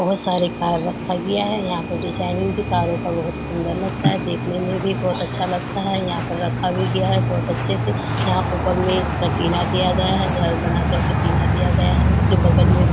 बहुत सारे कार रखा गया है यहाँ पे डिजाइनिंग के कारों का बहुत सुन्दर लगता है देखने में भी बहुत अच्छा लगता है यहाँ पर रखा भी गया है बहुत अच्छे से। यहाँ ऊपर में इसका टिना दिया गया है घर बना करके टिना दिया गया है उसके बगल में --